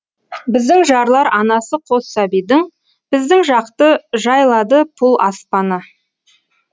біздің жарлар анасы қос сәбидің біздің жақты жайлады пұл аспаны